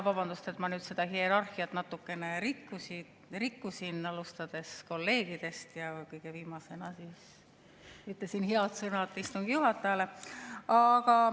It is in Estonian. Vabandust, et ma seda hierarhiat natukene rikkusin – alustasin kolleegidest ning kõige viimasena ütlesin head sõnad istungi juhatajale.